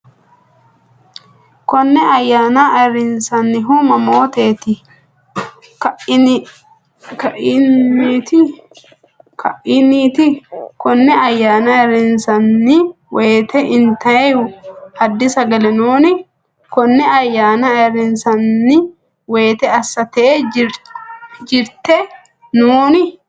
Koonne ayaana ayiriinsaanihu mamottini kaineeti? Koonne ayaana ayiriinsaani wote intaayihu addi sagale nnoni? Koonne ayaana ayiriinsaani wote as-tee jirte nnoni?